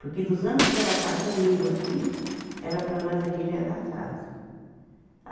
Porque dos anos que ela está comigo aqui, ela para nós aqui já é da casa.